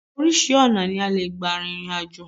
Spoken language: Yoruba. Oríṣi ọ̀nà ni a lè gbà rìnrìn àjò